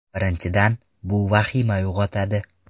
Birinchidan, bu vahima uyg‘otadi.